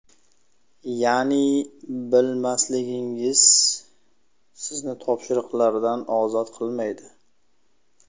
Ya’ni bilmasligingiz sizni topshiriqlardan ozod qilmaydi.